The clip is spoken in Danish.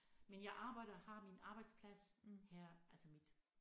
Men jeg arbejder har min arbejdsplads her altså mit